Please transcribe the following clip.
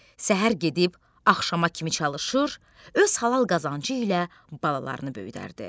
Səhər gedib axşama kimi çalışır, öz halal qazancı ilə balalarını böyüdərdi.